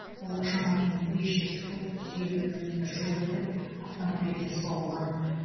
ол шамамен бес жүз фут жүз елу екі метр жүріп өтіп автомобильге соғылған